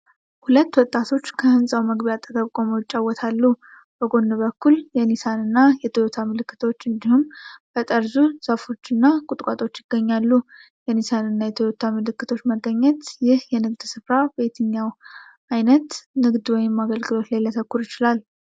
ሁለት ወጣቶች ከህንጻው መግቢያ አጠገብ ቆመው ይጨዋወታሉ፤ በጎን በኩል የ"ኒሳን" እና የ"ቶዮታ" ምልክቶች እንዲሁም በጠርዙ ዛፎች እና ቁጥቋጦዎች ይገኛሉ። የ"ኒሳን" እና የ"ቶዮታ" ምልክቶች መገኘት፣ ይህ የንግድ ስፍራ በየትኛው አይነት ንግድ ወይም አገልግሎት ላይ ሊያተኩር ይችላል?